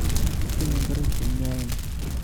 Mokitinye ngoroik che mpyoen